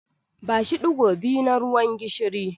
Bashi ɗigo biyu na ruwan gishiri.